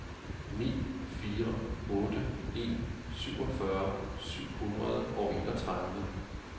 ni fire otte en syvogfyrre syv hundrede og enogtredive